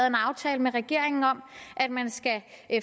en aftale med regeringen om at man skal